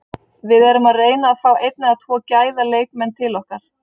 Við erum að reyna að fá einn eða tvo gæða leikmenn til okkar.